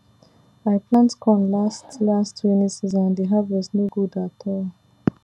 i plant corn late last rainy season and the harvest no good at all